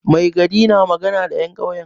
Mai gari na magana da 'yan kyauyen.